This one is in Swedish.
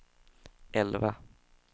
elva